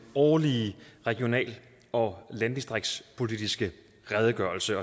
årlige regional og landdistriktspolitiske redegørelse